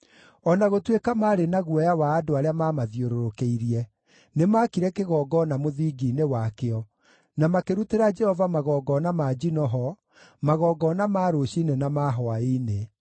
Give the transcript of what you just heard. O na gũtuĩka maarĩ na guoya wa andũ arĩa maamathiũrũrũkĩirie, nĩmakire kĩgongona mũthingi-inĩ wakĩo, na makĩrutĩra Jehova magongona ma njino ho, magongona ma rũciinĩ na ma hwaĩ-inĩ.